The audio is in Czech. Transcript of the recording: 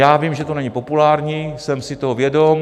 Já vím, že to není populární, jsem si toho vědom.